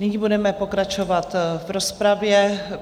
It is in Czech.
Nyní budeme pokračovat v rozpravě.